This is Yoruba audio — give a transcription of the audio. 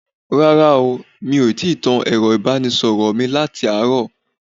Rárá o, mi ò tíì tan ẹ̀rọ ìbánisọ̀rọ̀ mi láti àárọ̀